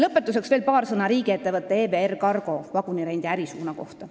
Lõpetuseks veel paar sõna riigiettevõtte EVR Cargo vagunirendi ärisuuna kohta.